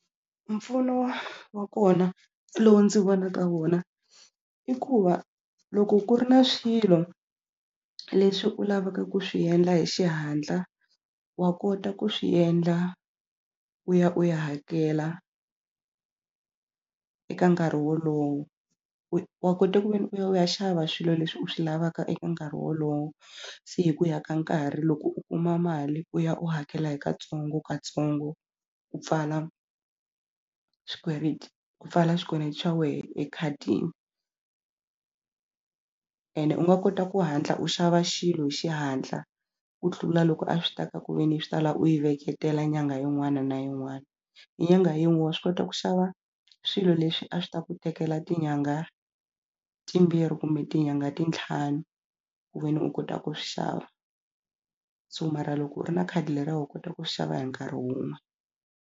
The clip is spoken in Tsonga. Mpfuno wa wa kona lowu ndzi vonaka wona i ku va loko ku ri na swilo leswi u lavaka ku swi endla hi xihatla wa kota ku swi endla u ya u ya hakela eka nkarhi wolowo wa kota ku ve ni u ya u ya xava swilo leswi u swi lavaka eka nkarhi wolowo se hi ku ya ka nkarhi loko u kuma mali u ya u hakela hi katsongokatsongo u pfala swikweleti ku pfala swikweleti xa wehe ekhadini ene u nga kota ku hatla u xava xilo hi xihatla ku tlula loko a swi ta ka ku ve ni swi ta la u yi veketela nyangha yin'wana na yin'wana hi nyangha yin'we wa swi kota ku xava swilo leswi a swi ta ku tekela tinyangha timbirhi kumbe tinyangha ti tlhanu ku veni u kota ku swi xava so mara loko u ri na khadi leriya wa kota ku swi xava hi nkarhi wun'we.